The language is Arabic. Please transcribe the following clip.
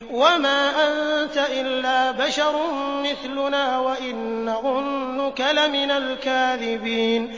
وَمَا أَنتَ إِلَّا بَشَرٌ مِّثْلُنَا وَإِن نَّظُنُّكَ لَمِنَ الْكَاذِبِينَ